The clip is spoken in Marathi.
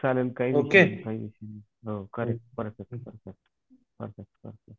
चाललं काही नाही काही विषय नाही परफेक्ट परफेक्ट